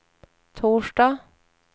torsdag